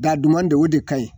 Da duman de o de ka ɲi